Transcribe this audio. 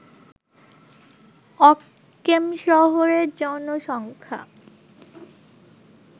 অক্কেমশহরের জনসংখ্যা